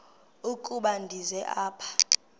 ukuba ndize apha